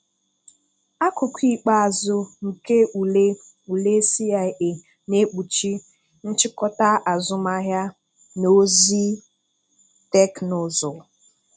Akụkụ ikpeazụ nke ule ule CIA na-ekpuchi nchịkọta azụmahịa na ozi teknụzụ